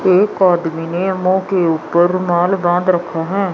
एक आदमी ने मुंह के ऊपर रुमाल बांध रखे हैं।